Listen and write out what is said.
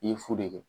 I ye fu de kɛ